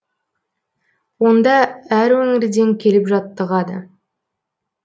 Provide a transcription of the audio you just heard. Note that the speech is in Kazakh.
онда әр өңірден келіп жаттығады